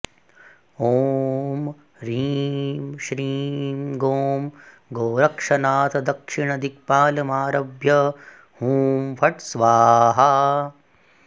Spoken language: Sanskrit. ॐ ह्रीं श्रीं गों गोरक्षनाथ दक्षिणदिक्पालमारभ्य हुँ फट् स्वाहा